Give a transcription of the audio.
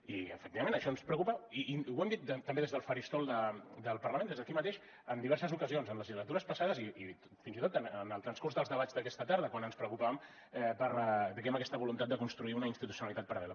i efectivament això ens preocupa i ho hem dit també des del faristol del parlament des d’aquí mateix en diverses ocasions en legislatures passades i fins i tot en el transcurs dels debats d’aquesta tarda quan ens preocupàvem per diguem ne aquesta voluntat de construir una institucionalitzat paral·lela